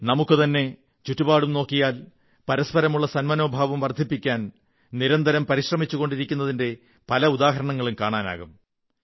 നമുക്കു തന്നെ ചുറ്റുപാടും നോക്കിയാൽ പരസ്പരമുള്ള സന്മനോഭാവം വർധിപ്പിക്കാൻ നിരന്തരം പരിശ്രമിച്ചുകൊണ്ടിരിക്കുന്നതിന്റെ പല ഉദാഹരണങ്ങളും കാണാനാകും